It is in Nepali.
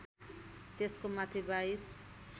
त्यसको माथि बाइस